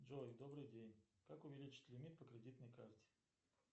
джой добрый день как увеличить лимит по кредитной карте